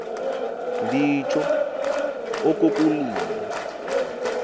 nditsho oku kulila